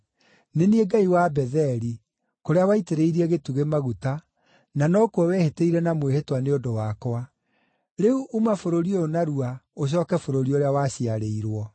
Nĩ niĩ Ngai wa Betheli, kũrĩa waitĩrĩirie gĩtugĩ maguta, na nokuo wehĩtĩire na mwĩhĩtwa nĩ ũndũ wakwa. Rĩu uma bũrũri ũyũ narua ũcooke bũrũri ũrĩa waciarĩirwo.’ ”